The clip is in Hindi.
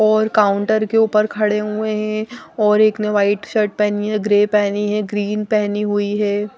और काउंटर के ऊपर खड़े हुए हैं और एक ने व्हाइट शर्ट पहनी है ग्रे पहनी है ग्रीन पहनी हुई है।